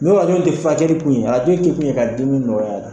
N'o hakili tɛ furakɛli kun ye arajo kɛ kun ye ka dimi nɔgɔya la.